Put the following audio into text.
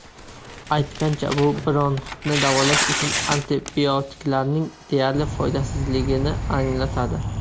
Aytgancha, bu bronxitni davolash uchun antibiotiklarning deyarli foydasizligini anglatadi.